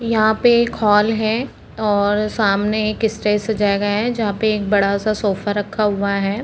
यहाँ पे एक हॉल है और सामने एक स्टेज सजाया गया है जहाँ पे एक बड़ा-सा सोफा रखा हुआ है।